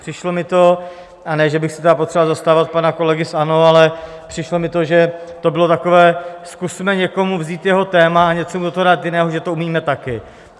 Přišlo mi to, a ne že bych se tedy potřeboval zastávat pana kolegy z ANO, ale přišlo mi to, že to bylo takové: Zkusme někomu vzít jeho téma a něco mu do toho dát jiného, že to umíme taky.